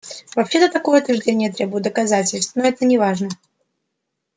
вообще-то такое утверждение требует доказательств но это неважно